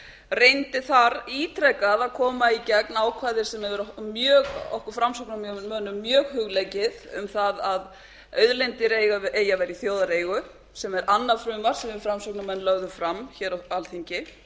reyndi þar ítrekað að koma í gegn ákvæði sem hefur verið okkur framsóknarmönnum mjög hugleikið um það að auðlindir eigi að vera í þjóðareigu sem er annað frumvarp sem við framsóknarmenn lögðum fram hér á alþingi